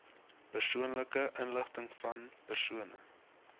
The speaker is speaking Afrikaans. persoonlike inligtingvan persone